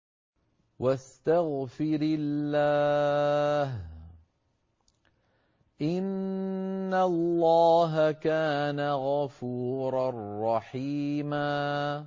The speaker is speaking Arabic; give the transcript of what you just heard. وَاسْتَغْفِرِ اللَّهَ ۖ إِنَّ اللَّهَ كَانَ غَفُورًا رَّحِيمًا